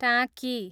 टाँकी